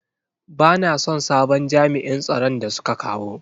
Bana son sabon jami'in tsaron da suka kawo.